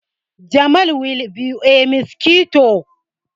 Jamal will buy a mosquito q